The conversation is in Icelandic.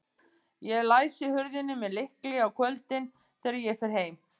Ég læsi hurðinni með lykli á kvöldin, þegar ég fer heim.